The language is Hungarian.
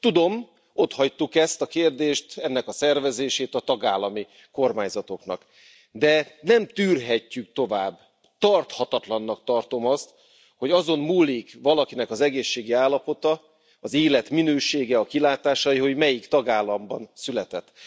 Tudom, ott hagytuk ezt a kérdést, ennek a szervezését a tagállami kormányzatoknak, de nem tűrhetjük tovább, tarthatatlannak tartom azt, hogy azon múlik valakinek az egészségi állapota, az életminősége, a kilátásai, hogy melyik tagállamban született.